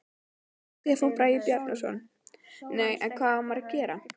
Stefán Bragi Bjarnason: Nei, en hvað á maður að gera?